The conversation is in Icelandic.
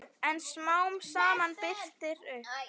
En smám saman birtir upp.